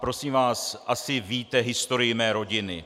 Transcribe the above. Prosím vás, asi víte historii mé rodiny.